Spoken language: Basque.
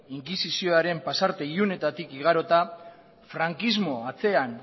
inkisizioaren pasarte ilunetatik igarota frankismoa atzean